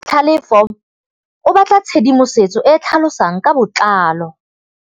Tlhalefô o batla tshedimosetsô e e tlhalosang ka botlalô.